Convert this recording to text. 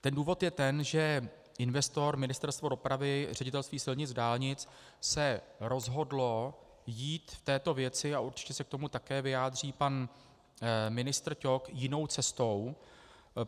Ten důvod je ten, že investor - Ministerstvo dopravy, Ředitelství silnic a dálnic - se rozhodl jít v této věci, a určitě se k tomu také vyjádří pan ministr Ťok, jinou cestou.